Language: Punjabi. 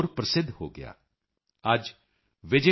ਤੁਹਾਡਾ ਕੰਮਕਾਰ ਕਿਵੇਂ ਚਲ ਰਿਹਾ ਹੈ and how's your work going on